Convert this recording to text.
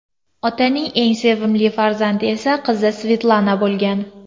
Otaning eng sevimli farzandi esa qizi Svetlana bo‘lgan.